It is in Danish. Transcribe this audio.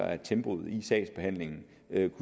af at tempoet i sagsbehandlingen